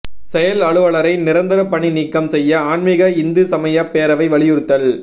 செயல் அலுவலரை நிரந்தர பணி நீக்கம் செய்ய ஆன்மிக இந்து சமயப் பேரவை வலியுறுத்தல்